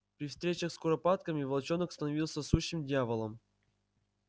при встречах с куропатками волчонок становился сущим дьяволом